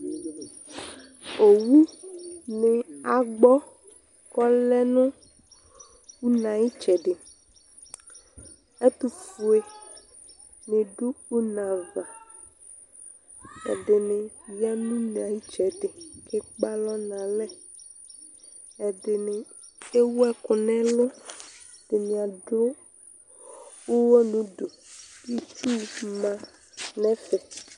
owu nɩ agbɔ, ku ɔlɛ nu une ayu ɩtsɛdɩ, ɛtufuǝ nidʊ une ava, ɛdinɩ ya nu une ayu ɩtsedɩ ku akpe alɔ nu alɛ, ɛdɩnɩ ewu ɛku nu ɛlʊ, ɛdɩnɩ adʊ uwɔ nudu, itsu mă nu ɛfɛ